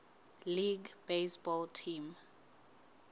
league baseball team